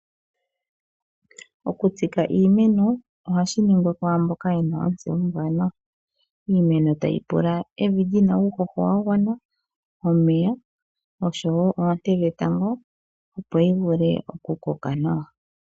Oku tsika iimeno ohashi ningwa kwaamboka yena otseyo ombwanawa. Iimeno tayi pula evi lina uuhoho wa gwana, omeya osho wo oonte dhetango, opo yi vule oku koka nawa.